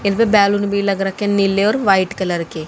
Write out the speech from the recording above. इनमें बैलून भी लग रखे नीले और व्हाइट कलर के।